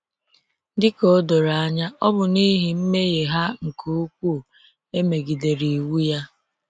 Dị ka o doro anya, ọ bụ n’ihi mmehie ha nke ukwuu emegidere iwu ya.